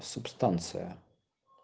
субстанция